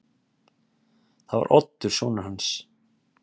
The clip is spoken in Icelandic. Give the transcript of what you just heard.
Það var Oddur sonur hans.